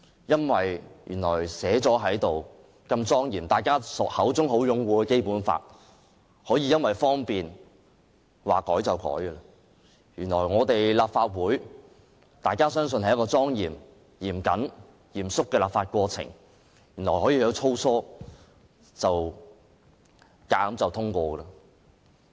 原來如此莊嚴制定，備受大家擁護的《基本法》，竟然可以因為方便而隨意修改；原來立法會內莊嚴及嚴肅的立法過程，可以很粗疏地強行通過法案。